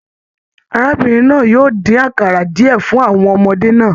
Arábìnrin náà yóò din àkara diẹ fún àwọn ọmọdé náà.